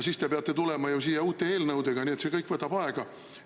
Siis te peate tulema ju siia uute eelnõudega ja see kõik võtab aega.